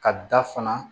Ka da fana